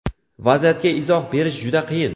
Vaziyatga izoh berish juda qiyin.